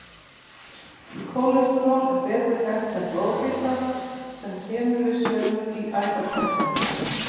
Kólesteról er betur þekkt sem blóðfita sem kemur við sögu í æðakölkun.